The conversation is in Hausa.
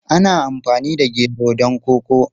Ana amfani da gero don koko.